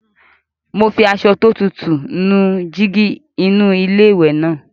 Mo fi aṣọ tó tutù díẹ̀ nu jígí inú iléwẹ̀ náà.